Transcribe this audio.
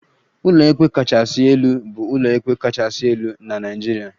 Ụlọikpe kachasị elu bụ ụlọikpe kachasị elu na Naịjirịa